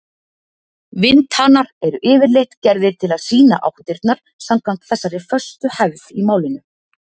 Vindhanar eru yfirleitt gerðir til að sýna áttirnar samkvæmt þessari föstu hefð í málinu.